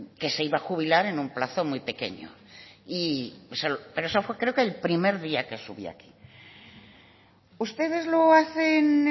que se iba a jubilar en un plazo muy pequeño pero eso creo que fue el primer día que subí aquí ustedes lo hacen